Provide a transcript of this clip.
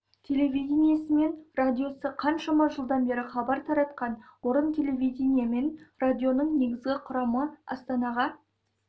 телевидениесі мен радиосы қаншама жылдан бері хабар таратқан орын телевидение мен радионың негізгі құрамы астанаға